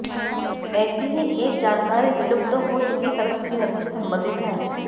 ऐसी ही एक जानकारी विलुप्त हो चुकी सरस्वती नदी से संबंधित है